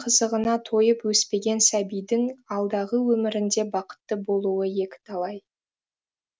қызығына тойып өспеген сәбидің алдағы өмірінде бақытты болуы екі талай